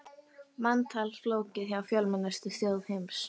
Manntal flókið hjá fjölmennustu þjóð heims